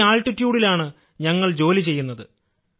ഈ ആൾട്ടിട്യൂഡ് ലാണ് ഞങ്ങൾ ജോലി ചെയ്യുന്നത്